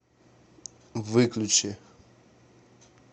выключи